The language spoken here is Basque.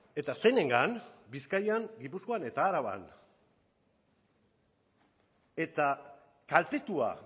eta zeinengan bizkaian gipuzkoan eta araban eta kaltetua